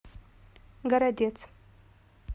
городец